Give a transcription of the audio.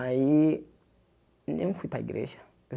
Aí, não fui para a igreja.